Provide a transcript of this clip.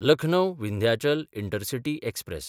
लखनौ–विंध्याचल intercity express